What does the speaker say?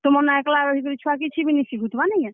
ତୁମର୍ ନ ଏକ୍ ଲା ରହିକରି ଛୁଆ କିଛି ବି ନି ଶିଖୁଥିବା ନିକେଁ?